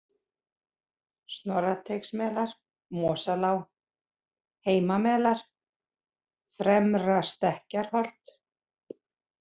Snorrateigsmelar, Mosalág, Heimamelar, Fremra-Stekkjarholt